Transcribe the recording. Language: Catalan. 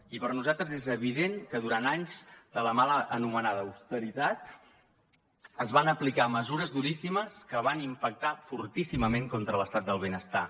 i per nosaltres és evident que durant anys de la mal anomenada austeritat es van aplicar mesures duríssimes que van impactar fortíssimament contra l’estat del benestar